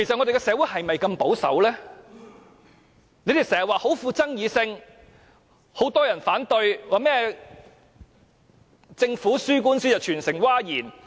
你們經常說這議題極富爭議性，很多人反對，說政府輸掉官司令全城譁然。